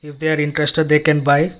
they are interested they can buy--